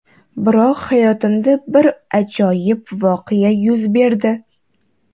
Biroq hayotimda bir ajoyib voqea yuz berdi.